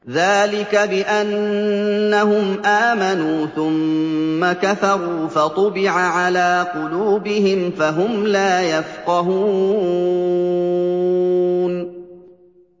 ذَٰلِكَ بِأَنَّهُمْ آمَنُوا ثُمَّ كَفَرُوا فَطُبِعَ عَلَىٰ قُلُوبِهِمْ فَهُمْ لَا يَفْقَهُونَ